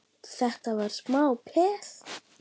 Þetta var smá peð!